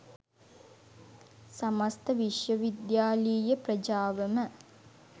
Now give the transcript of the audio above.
සමස්ත විශ්වවිද්‍යාලීය ප්‍රජාවම